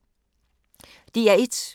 DR1